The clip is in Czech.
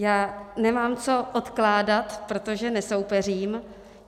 Já nemám co odkládat, protože nesoupeřím.